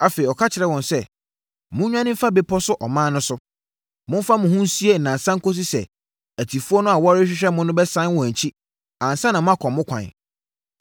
Afei ɔka kyerɛɛ wɔn sɛ, “Monnwane mfa bepɔ so ɔman no so. Momfa mo ho nsie nnansa kɔsi sɛ atifoɔ no a wɔrehwehwɛ mo no bɛsane wɔn akyi ansa na moakɔ mo kwan.”